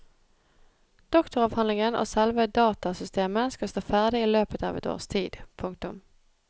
Doktoravhandlingen og selve datasystemet skal stå ferdig i løpet av et års tid. punktum